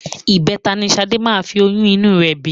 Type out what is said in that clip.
Ìbẹta ni Ṣadé máa fi oyún inú rẹ bí